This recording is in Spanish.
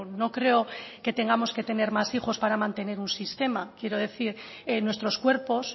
no creo que tengamos que tener más hijos para mantener un sistema quiero decir nuestros cuerpos